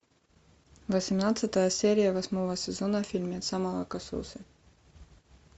восемнадцатая серия восьмого сезона фильмеца молокососы